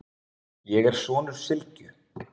Ég er sonur Sylgju,